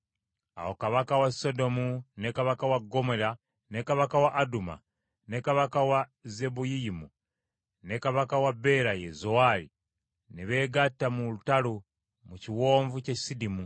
Awo kabaka wa Sodomu ne kabaka wa Ggomola, ne kabaka wa Aduma, ne kabaka wa Zeboyiyimu ne kabaka wa Bera, ye Zowaali ne beegatta mu lutalo mu kiwonvu ky’e Sidimu